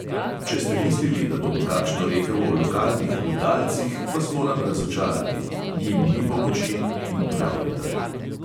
Če ste mislili, da bom kakšno rekel o lokalnih butalcih, vas moram razočarati – njim ni pomoči, in prav je tako.